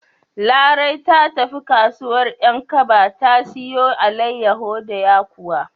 Larai ta tafi kasuwar 'Yankaba ta siyo alaiyawu da yakuwa.